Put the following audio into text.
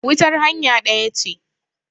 wutar hanya ɗaya ce